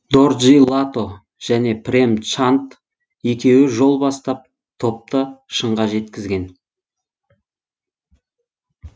дорджи лато және прем чанд екеуі жол бастап топты шыңға жеткізген